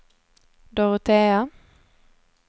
Dorotea